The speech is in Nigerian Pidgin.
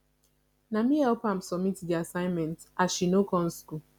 na me help am submit di assignment as she no come skool